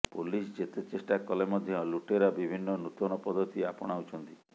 police ଯେତେ ଚେଷ୍ଟା କଲେ ମଧ୍ୟ ଲୁଟେରା ବିଭିନ୍ନ ନୂତନ ପଦ୍ଧତି ଆପଣାଉଛନ୍ତି